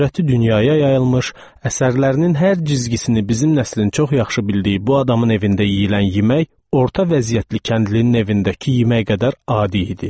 Şöhrəti dünyaya yayılmış, əsərlərinin hər cizgisini bizim nəslin çox yaxşı bildiyi bu adamın evində yeyilən yemək orta vəziyyətli kəndlinin evindəki yemək qədər adi idi.